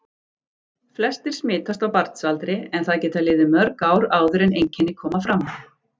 Flestir smitast á barnsaldri en það geta liðið mörg ár áður en einkenni koma fram.